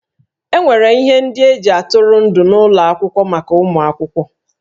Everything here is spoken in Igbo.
E nwere ihe ndị e ji atụrụ ndụ n'ụlọ akwụkwọ maka ụmụ akwụkwọ